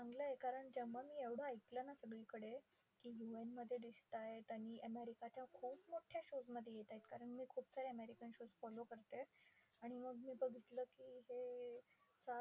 चांगलंय. कारण जेव्हा मी एवढं ऐकलं ना सगळीकडे, की UN मध्ये दिसतायत आणि अमेरिकेच्या खूप मोठ्या shows मध्ये येतायत. कारण मी खूप सारे American shows follow करते. आणि मग मी बघितलं की हे